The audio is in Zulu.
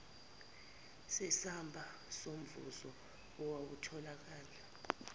nesamba somvuzo owatholakala